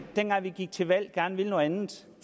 dengang vi gik til valg gerne ville noget andet